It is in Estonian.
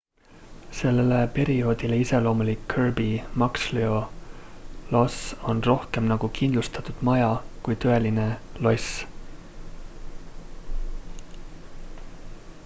sellele perioodile iseloomulik kirby muxloe loss on rohkem nagu kindlustatud maja kui tõeline loss